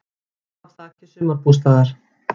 Féll af þaki sumarbústaðar